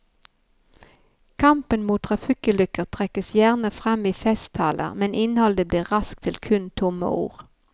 Kampen mot trafikkulykker trekkes gjerne frem i festtaler, men innholdet blir raskt til kun tomme ord.